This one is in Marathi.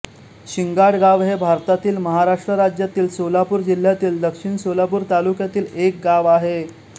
शिंगाडगाव हे भारतातील महाराष्ट्र राज्यातील सोलापूर जिल्ह्यातील दक्षिण सोलापूर तालुक्यातील एक गाव आहे